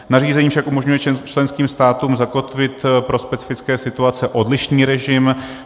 Nařízení však umožňuje členským státům zakotvit pro specifické situace odlišný režim.